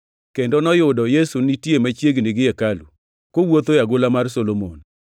kendo noyudo Yesu nitie machiegni gi hekalu, kowuotho e agola mar Solomon.